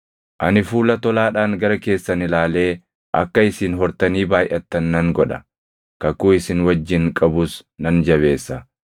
“ ‘Ani fuula tolaadhaan gara keessan ilaalee akka isin hortanii baayʼattan nan godha; kakuu isin wajjin qabus nan jabeessa.